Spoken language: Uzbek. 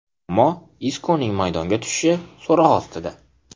Ammo Iskoning maydonga tushishi so‘roq ostida.